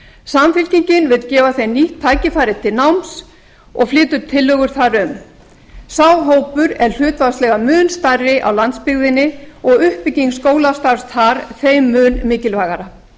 samfylkingin vill gefa þeim nýtt tækifæri til náms og flytur tillögur þar um sá hópur er hlutfallslega mun stærri á landsbyggðinni og uppbygging skólastarfs þar þeim mun mikilvægara